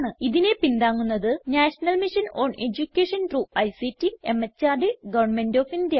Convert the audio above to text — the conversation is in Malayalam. ഇതിനെ പിന്താങ്ങുന്നത് national mission on education through ICT MHRD government of India